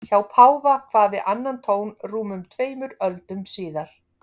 Hjá páfa kvað við annan tón rúmum tveimur öldum síðar.